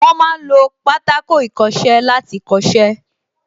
Wọ́n ma ń lo Pátákó ìkọṣẹ́ láti kọ́ṣẹ́